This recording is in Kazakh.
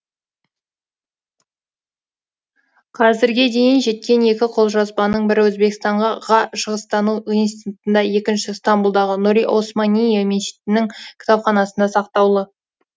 қазірге дейін жеткен екі қолжазбаның бірі өзбекстан ға шығыстану институтында екіншісі стамбұлдағы нұри османийе мешітінің кітапханасында сақтаулы